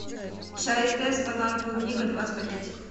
чай тесс банан клубника двадцать пакетиков